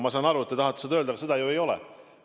Ma saan aru, et te tahate seda öelda, aga nii ju ei ole.